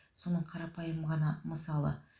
соның қарапайым ғана мысалы